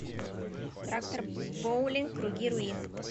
трактор боулинг круги руин